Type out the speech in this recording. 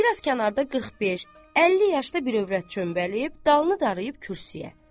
Bir az kənarda 45-50 yaşda bir övrət çöməlib, dalını dayayıb kürsüyə.